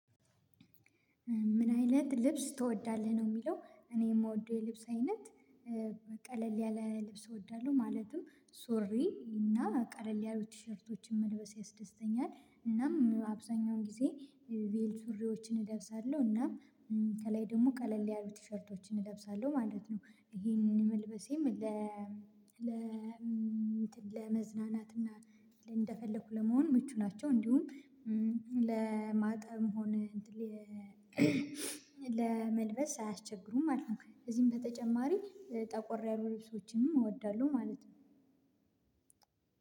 ምን አይነት ልብስ ትወዳለህ? ነው የምለው። እኔ የምወደው የልብስ አይነት ቀለል ያለ ልብስ ወዳለው። ማለትም ሱሪ እና ቀለል ያሉ ትሽርቶችን መልበስ ያስደስተኛል። እናም አብዛኛውን ግዜ ቬሎ ሱርዎችን እለብሳለው እና ከላይ ደግሞ ቀለል ያሉት ትሸርቶችን እለብሳለሁ ማለት ነው። ይሄንን መልበሴም ለ ለ እንትን ለመዝናናት እንደፈለኩ ለመሆን ምቹ ናቸው። እንዲሁም ለማጠብም ሆነ ለመልበስ አያስቸግሩም ማለት ነው። እዚህም በተጨማሪ ጠቆር ያሉ ልብሶችም እወዳለሁ ማለት ነው።